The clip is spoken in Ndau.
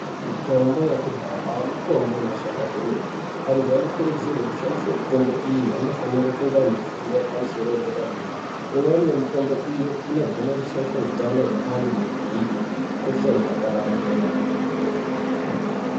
Mitombo yakudhaya mitombo inoshanda kwemene. Vantu vanokurudzirwa kushandisa mitombo mitombo iyi anofane kunge ane fundo yepamusoro yedera dera. Imwe yemitombo iyi inogone kushaisha utano hwevantu hukosha hukapararira.